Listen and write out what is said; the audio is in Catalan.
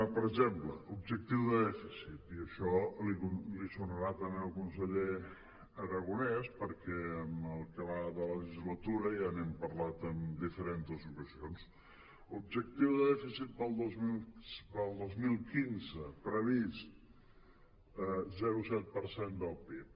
per exemple objectiu de dèficit i això li deurà sonar també al conseller arago·nès perquè en el que va de legislatura ja n’hem parlat en diferents ocasions objec·tiu de dèficit per al dos mil quinze previst zero coma set per cent del pib